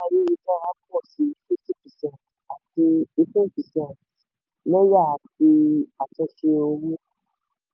ayélujára pọ̀ sí fifty percent àti eighteen percent lẹ́yà ti àtúnṣe owó.